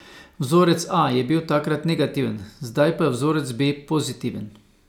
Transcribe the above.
Vzorec A je bil takrat negativen, zdaj pa je vzorec B pozitiven.